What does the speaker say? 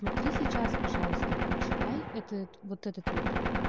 смотри сейчас пожалуйста прочитай это вот этот вот